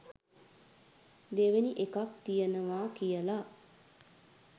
දෙවෙනි එකක් තියෙනව කියල